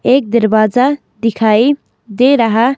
एक दरवाजा दिखाई दे रहा--